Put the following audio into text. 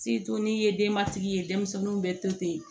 n'i ye denbatigi ye denmisɛnninw bɛ to ten